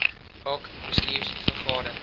hoc bestuurs vergade